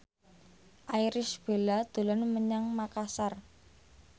Irish Bella dolan menyang Makasar